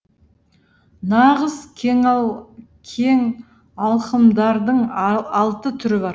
нағыз кеңалқымдардың алты түрі бар